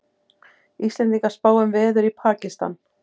Íslendingar spá um veður í Pakistan